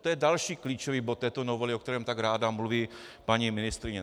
To je další klíčový bod této novely, o kterém tak ráda mluví paní ministryně.